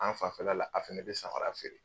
An fanfɛ la la a fɛnɛ be samara feere